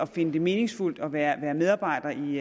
finde det meningsfuldt at være medarbejder i